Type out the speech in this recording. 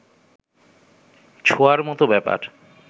ছোঁড়ার মত ব্যাপার